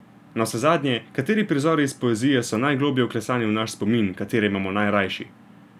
Navsezadnje, kateri prizori iz poezije so najgloblje vklesani v naš spomin, katere imamo najrajši?